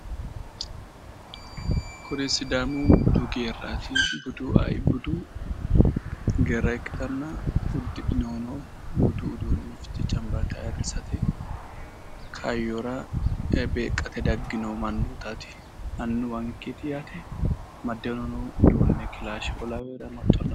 Kuni sidaamu budu geerat budu geerat ikkitana uddidhinohuno budu uduune fiche cancbalaalate kaayyora beeqqate daggewo manootaat annuwankeet yaate amaddeeorino uduune kilaashe"oo laweore